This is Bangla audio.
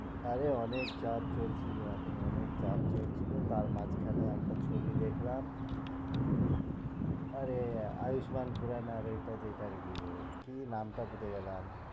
আরে অনেক চাপ চলছিল এখন অনেক চাপ চলছিল তার মাঝখানে একটা ছবি দেখলাম আরে আয়ুসমান কি নাম টা ভুলে গেলাম